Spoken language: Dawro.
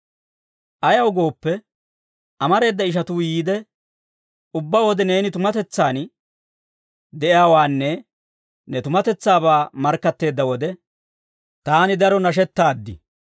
Ayaw gooppe, amareeda ishatuu yiide, ubbaa wode neeni tumatetsaan de'iyaawaanne ne tumatetsaabaa markkatteedda wode, taani daro nashettaaddi.